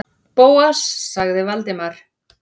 Bóas- sagði Valdimar.